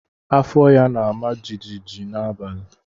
Afọ ya na-ama jijiji n'abalị.